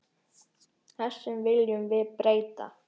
Þessu viljum við breyta.